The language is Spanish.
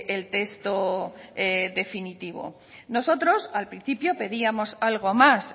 el texto definitivo nosotros al principio pedíamos algo más